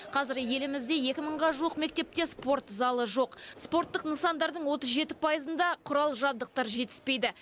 қазір елімізде екі мыңға жуық мектепте спорт залы жоқ спорттық нысандардың отыз жеті пайызында құрал жабдықтар жетіспейді